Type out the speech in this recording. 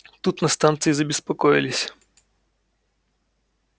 тут на станции забеспокоились